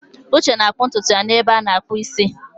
Uche na-akpụ ntutu ya n'ebe a na-akpụ isi.